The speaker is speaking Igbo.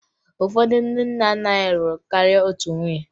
Ụfọdụ ndị nna nna anyị lụrụ karịa otu nwunye